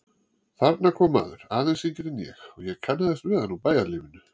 Þarna kom maður, aðeins yngri en ég, og ég kannaðist við hann úr bæjarlífinu.